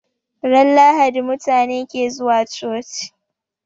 Ran lahadi mutabe ke zuwa coci